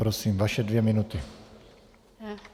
Prosím, vaše dvě minuty.